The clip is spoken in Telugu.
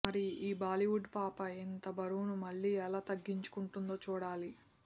మరి ఈ బాలీవుడ్ పాప ఇంత బరువును మళ్లీ ఎలా తగ్గించుకుంటుందో చూడాలి